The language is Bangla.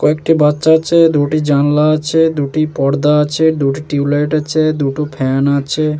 কয়েকটি বাচ্চা আছে। দুটি জানলা আছে। দুটি পর্দা আছে। দুটি টিউব লাইট আছে। দুটো ফ্যান আছে।